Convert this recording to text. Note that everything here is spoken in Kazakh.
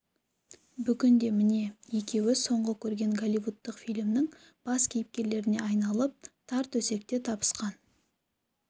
бүгін де міне екеуі соңғы көрген голливудтық фильмнің бас кейіпкерлеріне айналып тар төсекте табысқан